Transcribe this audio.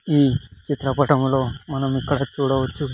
ఈ చిత్రపటంలో మనం ఇక్కడ చూడవచ్చు.